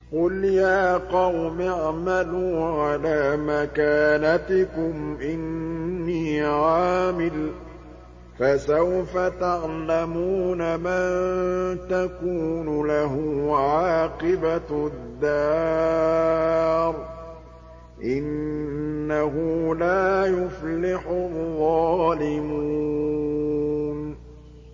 قُلْ يَا قَوْمِ اعْمَلُوا عَلَىٰ مَكَانَتِكُمْ إِنِّي عَامِلٌ ۖ فَسَوْفَ تَعْلَمُونَ مَن تَكُونُ لَهُ عَاقِبَةُ الدَّارِ ۗ إِنَّهُ لَا يُفْلِحُ الظَّالِمُونَ